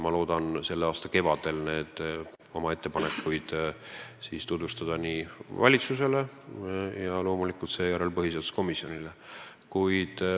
Ma loodan selle aasta kevadel tutvustada oma ettepanekuid kõigepealt valitsusele ja seejärel loomulikult põhiseaduskomisjonile.